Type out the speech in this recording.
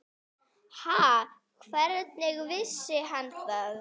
Ha, hvernig vissi hann það?